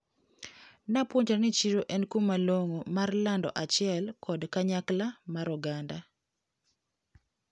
Napuonjra ni chiro en kuma long`o mar lando achiel kod kanyakla mar oganda.